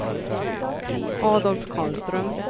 Adolf Karlström